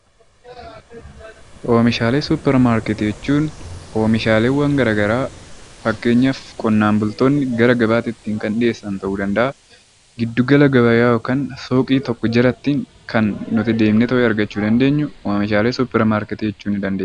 Oomishaalee Suppermaarkeetii jechuun oomishaalee gara garaa fakkeenyaaf qonnaan bultoonni gara gabaatti dhiyeessan ta'uu ni danda’a, giddu gala gabayaa yookiin fooqii tokko jalatti kan nuti deemnee argachuu dandeenyu oomishaalee Suppermaarkeetii jechuu ni dandeenya.